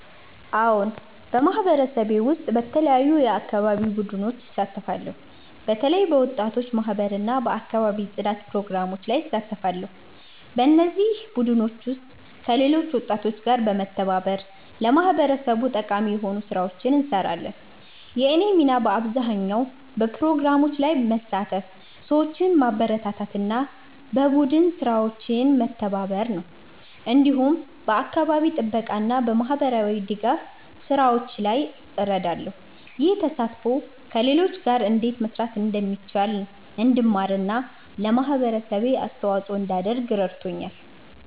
አዎን፣ በማህበረሰቤ ውስጥ በተለያዩ የአካባቢ ቡድኖች እሳተፋለሁ። በተለይ በወጣቶች ማህበር እና በአካባቢ ጽዳት ፕሮግራሞች ላይ እሳተፋለሁ። በእነዚህ ቡድኖች ውስጥ ከሌሎች ወጣቶች ጋር በመተባበር ለማህበረሰቡ ጠቃሚ የሆኑ ስራዎችን እንሰራለን። የእኔ ሚና በአብዛኛው በፕሮግራሞች ላይ መሳተፍ፣ ሰዎችን ማበረታታት እና በቡድን ስራዎች መተባበር ነው። እንዲሁም በአካባቢ ጥበቃ እና በማህበራዊ ድጋፍ ስራዎች ላይ እረዳለሁ። ይህ ተሳትፎ ከሰዎች ጋር እንዴት መስራት እንደሚቻል እንድማር እና ለማህበረሰቤ አስተዋጽኦ እንዳደርግ ረድቶኛል።